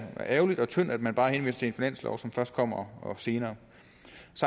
ærgerligt og tyndt at man bare henviser til en finanslov som først kommer senere